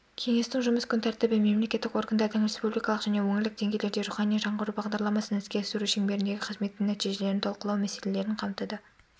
кеңестің жұмыс күн тәртібі мемлекеттік органдардың республикалық және өңірлік деңгейлерде рухани жаңғыру бағдарламасын іске асыру шеңберіндегі қызметінің нәтижелерін талқылау мәселелерін қамтыды